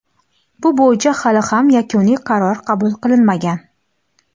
bu bo‘yicha hali ham yakuniy qaror qabul qilinmagan.